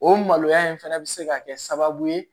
O maloya in fana bɛ se ka kɛ sababu ye